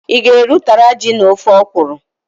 I ga-eri ụtara ji na ofe okwuru?